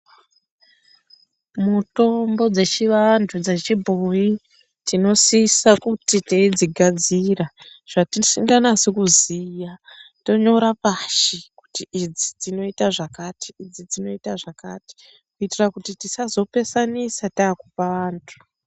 Mitombo dzechivantu, dzechibhoyi tinosisa kuti teidzigadzira, zvatisinganasi kuziya tonyora pashi kuti idzi dzinoita zvakati, idzi dzinoita zvakati, kuitira kuti tisazopesanisa taakupa vantu.